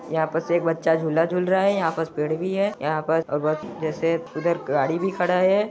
यहाँ पास बस एक बच्चा झूला झूल रहा है यहाँ पास में पेड़ भी है यहाँ पास और बस जैसे उधर गाड़ी भी खड़ा हैं।